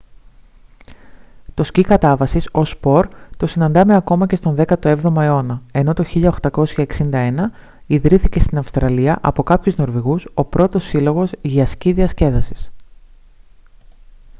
το σκι κατάβασης ως σπορ το συναντάμε ακόμα και στον 17ο αιώνα ενώ το 1861 ιδρύθηκε στην αυστραλία από κάποιους νορβηγούς ο πρώτος σύλλογος για σκι διασκέδασης